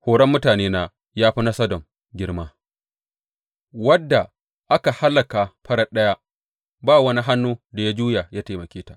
Horon mutanena ya fi na Sodom girma, wadda aka hallaka farat ɗaya ba wani hannu da ya juya ya taimake ta.